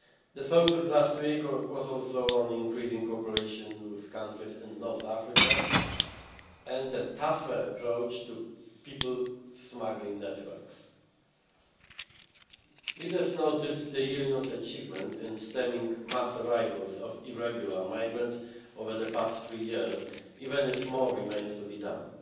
The focus last week was also on increasing cooperation with countries in North Africa, and a tougher approach to people smuggling networks. Leaders noted the Union's achievement in stemming mass arrivals of irregular migrants over the past three years, even if more remains to be done.